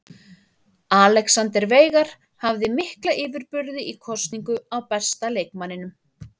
Alexander Veigar hafði mikla yfirburði í kosningu á besta leikmanninum.